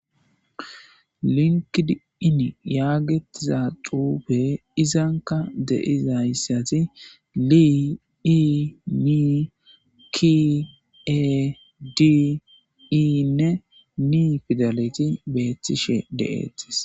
Linked in yagidi uffey izzankka deyzza xuffeti Linked in pidaletti betishe dettes.